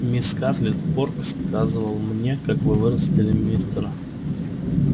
мисс скарлетт порк сказывал мне как вы вырастили мистера